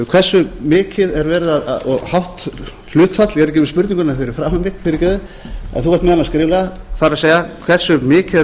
hversu mikið og hátt hlutfall ég er ekki með spurninguna fyrir framan mig fyrirgefðu en þú ert með hana skrifaða það er hversu mikið er búið